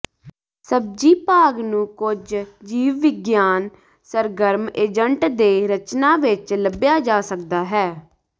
ਸਬਜ਼ੀ ਭਾਗ ਨੂੰ ਕੁਝ ਜੀਵਵਿਗਿਆਨ ਸਰਗਰਮ ਏਜੰਟ ਦੇ ਰਚਨਾ ਵਿੱਚ ਲੱਭਿਆ ਜਾ ਸਕਦਾ ਹੈ